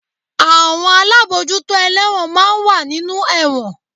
Àwọn alábòójútó ẹlẹ́won máa ń wà nínú ẹ̀wọ̀n